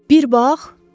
Bir bax!